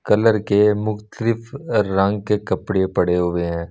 Colour के मुख्तलिफ रंग के कपड़े पड़े हुए हैं।